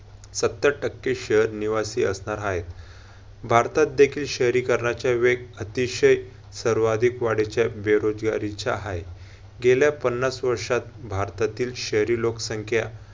सत्तर टक्के शहर निवासी असणार हाय. भारतातदेखील शहरीकणारचा वेग अतिशय सर्वाधिक वाढीच्या बेरोजगारीचा हाय. गेल्या पन्नास वर्षात भारतातील शहरी लोकसंख्या